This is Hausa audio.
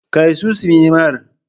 Kai su sinimar.